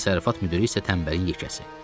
Təsərrüfat müdiri isə tənbəlin yekəsi.